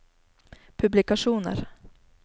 publikasjoner